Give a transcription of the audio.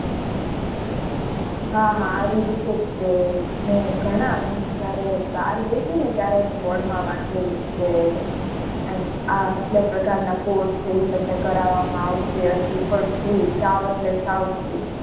હા હા આવી રીતે જ છે. મેં ઘણાં જયારે બાર ગઈ હતી ને ત્યારે વાંચેલું board માં વાંચેલું કે એમ આટલા પ્રકાર ના course છે. એ તમને કરાવવા માં આવશે અને એ પણ free સાવ એટલે સાવ free.